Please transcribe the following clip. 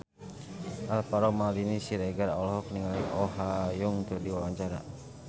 Alvaro Maldini Siregar olohok ningali Oh Ha Young keur diwawancara